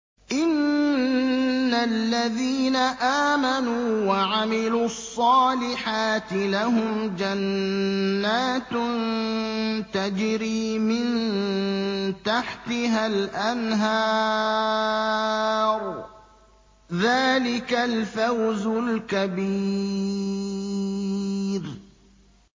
إِنَّ الَّذِينَ آمَنُوا وَعَمِلُوا الصَّالِحَاتِ لَهُمْ جَنَّاتٌ تَجْرِي مِن تَحْتِهَا الْأَنْهَارُ ۚ ذَٰلِكَ الْفَوْزُ الْكَبِيرُ